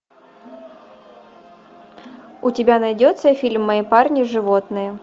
у тебя найдется фильм мои парни животные